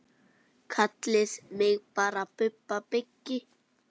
Kallið mig bara Bubba byggi.